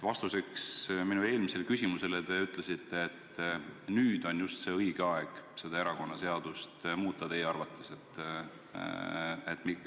Vastuseks minu eelmisele küsimusele te ütlesite, et teie arvates nüüd on just õige aeg erakonnaseadust muuta.